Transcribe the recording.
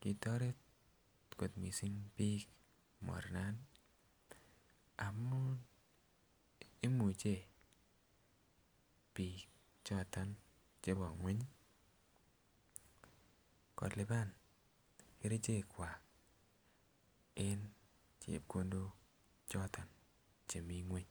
kitoret kot missing biik mornani amun imuche biik choton chebo kweny ii kolipan kerichekwak en chepkondok choton chemii kweny